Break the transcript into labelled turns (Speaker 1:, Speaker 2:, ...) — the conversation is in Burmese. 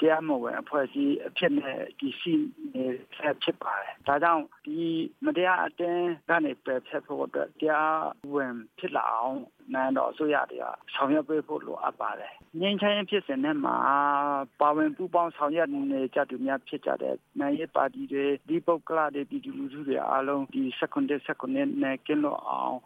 Speaker 1: တရားမဝင်အဖွဲ့အစည်းအနေနဲ့ တည်ရှိနေဆဲဖြစ်ပါတယ်၊ ဒါကြောင့် မတရားအသင်းကနေ ပယ်ဖျက်ဖို့အတွက် တရားအသင်းဖြစ် လာအောင် နိုင်ငံတော်အစိုးရတွေက ဆောင်ရွက်ပေးဖို့လိုအပ်ပါတယ်၊ ငြိမ်းချမ်းရေးဖြစ်စဉ်ထဲမှာ ပါဝင်ပူးပေါင်းဆောင်ရွက်နေကြသူများ ဖြစ်ကြတဲ့ နိုင်ငံရေးပါတီတွေ၊ တသီးပုဂ္ဂလတွေ ပြည်သူ လူထုတွေ အားလုံးဒီ ၁
Speaker 2: ၇ နဲ့ ကင်းလွတ်အောင်